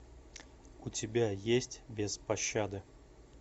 у тебя есть без пощады